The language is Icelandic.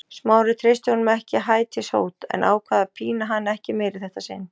Smári treysti honum ekki hætishót en ákvað að pína hann ekki meira í þetta sinn.